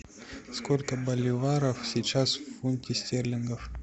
сколько боливаров сейчас в фунте стерлингов